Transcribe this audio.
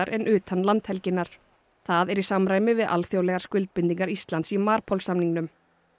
en utan landhelginnar það er í samræmi við alþjóðlegar skuldbindingar Íslands í MARPOL samningnum